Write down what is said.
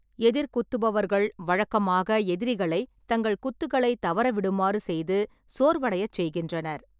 எதிர் குத்துபவர்கள் வழக்கமாக எதிரிகளைத் தங்கள் குத்துகளை தவற விடுமாறு செய்து சோர்வடையச் செய்கின்றனர் .